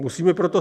Máte slovo.